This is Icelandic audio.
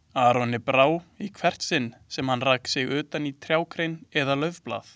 Aroni brá í hvert sinn sem hann rak sig utan í trjágrein eða laufblað.